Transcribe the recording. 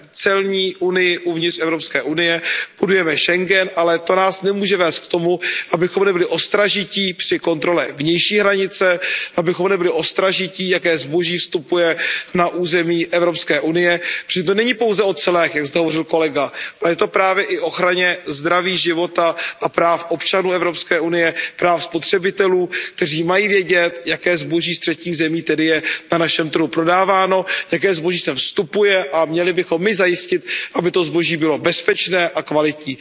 celní unii uvnitř EU, budujeme Schengen, ale to nás nemůže vést k tomu, abychom nebyli ostražití při kontrole vnější hranice, abychom nebyli ostražití, jaké zboží vstupuje na území EU, protože to není pouze o clech, jak zde hovořil kolega, ale je to právě i o ochraně zdraví, života a práv občanů EU, práv spotřebitelů, kteří mají vědět, jaké zboží ze třetích zemí je na našem trhu prodáváno, jaké zboží sem vstupuje, a měli bychom my zajistit, aby to zboží bylo bezpečné a kvalitní.